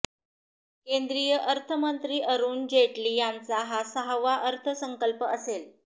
केंद्रीय अर्थमंत्री अरुण जेटली यांचा हा सहावा अर्थसंकल्प असेल